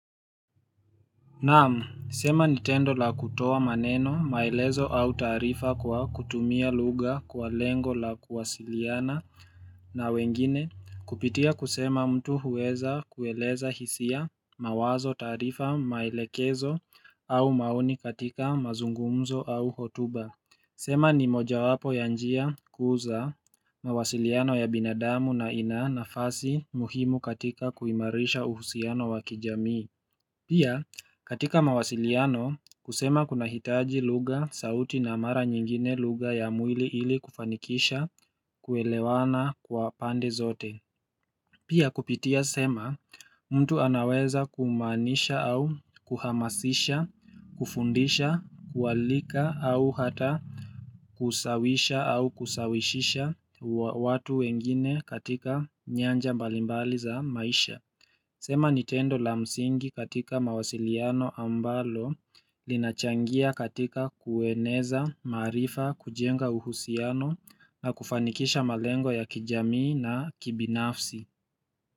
Naam, sema ni tendo la kutoa maneno maelezo au taarifa kwa kutumia lugha kwa lengo la kuwasiliana na wengine kupitia kusema mtu huweza kueleza hisia mawazo taarifa maelekezo au maoni katika mazungumzo au hotuba. Sema ni mojawapo ya njia kuu za mawasiliano ya binadamu na ina nafasi muhimu katika kuimarisha uhusiano wa kijamii. Pia katika mawasiliano kusema kuna hitaji lugha sauti na mara nyingine lugha ya mwili ili kufanikisha kuelewana kwa pande zote Pia kupitia sema mtu anaweza kumaanisha au kuhamasisha, kufundisha, kualika au hata kusawisha au kusawishisha watu wengine katika nyanja mbali mbali za maisha sema ni tendo la msingi katika mawasiliano ambalo linachangia katika kueneza, maarifa, kujenga uhusiano na kufanikisha malengo ya kijamii na kibinafsi.